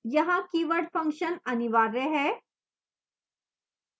यहाँ keyword function अनिवार्य है